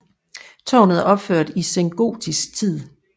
Tårnet er opført i sengotisk tid